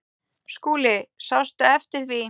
SKÚLI: Sástu eftir því?